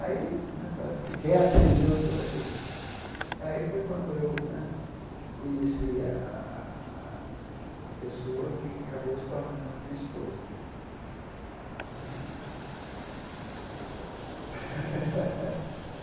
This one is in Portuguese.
Aí né parece que reacendeu todo aquele... Aí foi quando eu né conheci a a a pessoa que acabou se tornando a minha esposa e.